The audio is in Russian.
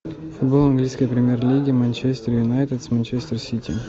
футбол английской премьер лиги манчестер юнайтед с манчестер сити